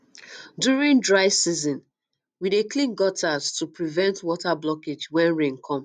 during um dry um season um we dey clean gutters to prevent water blockage when rain come